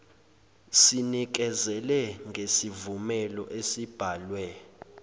sinikezele ngesivumelo esibhalwe